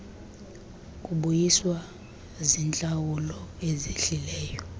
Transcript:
kubuyiswa ziintlawulo ezehlileyo